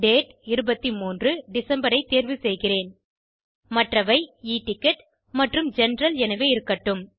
date 23 December ஐ தேர்வு செய்கிறேன் மற்றவை e டிக்கெட் மற்றும் ஜெனரல் எனவே இருக்கட்டும்